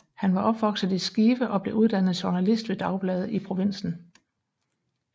Han var opvokset i Skive og blev uddannet journalist ved dagblade i provinsen